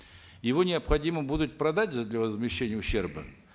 его необходимо будет продать же для возмещения ущерба